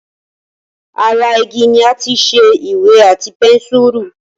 Ara igi ni àti ṣe Ìwé àti pẹ́nsùrù